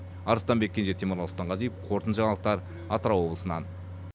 арыстанбек кенже темірлан сұлтанғазиев қорытынды жаңалықтар атырау облысынан